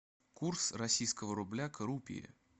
курс российского рубля к рупии